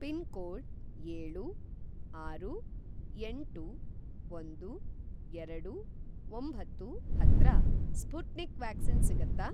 Pin code ಏಳು, ಆರು, ಎಂಟು, ಒಂದು, ಎರಡು, ಒಂಬತ್ತು ಹತ್ರ ಸ್ಪುಟ್ನಿಕ್ ವ್ಯಾಕ್ಸಿನ್ ಸಿಗತ್ತಾ?